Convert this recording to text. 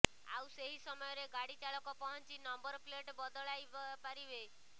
ଆଉ ସେହି ସମୟରେ ଗାଡି ଚାଳକ ପହଞ୍ଚି ନମ୍ବର ପ୍ଲେଟ ବଦଳାଇପାରିବେ